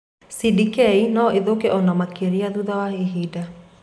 CDK no ithũke o na makĩria thutha wa ihinda.